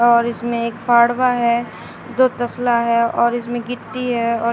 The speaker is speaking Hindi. और इसमें एक फाड़वा है दो तसला है और इसमें गिट्टी है और--